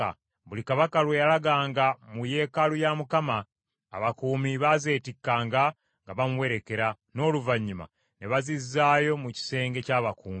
Buli kabaka bwe yalaganga mu yeekaalu ya Mukama , abakuumi baazeetikkanga nga bamuwerekera, n’oluvannyuma ne bazizaayo mu kisenge ky’abakuumi.